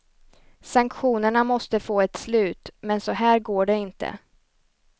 Sanktionerna måste få ett slut, men så här går det inte.